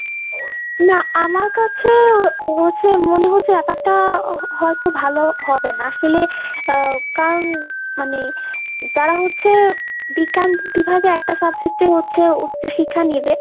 না আমার কাছে হচ্ছে মনে হচ্ছে ব্যাপারটা হয়তো ভালো হবে না। আসলে আহ কারণ মানে যারা হচ্ছে বিজ্ঞান বিভাগে একটা subject এ হচ্ছে উচ্চ শিক্ষা নিবে